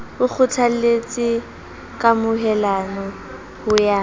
o kgothaletse kamohelano ho ya